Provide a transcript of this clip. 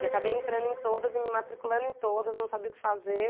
E acabei entrando em todas e me matriculando em todas, não sabia o que fazer.